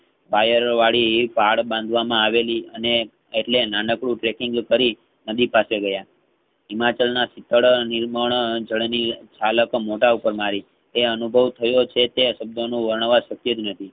Wire વાળી કાળબાંધવામાં આવેલી અને એટલે નાનકડુ કેટિંગ કરી નદી પાસે ગયા હિમાચલ ના શીતળ નિર્મલ જળ ની ઝલક મોઢા ઉપર મારી તે અનુભવ થયો છે તે શબ્દ નું વણવા શક્ય જ નથી.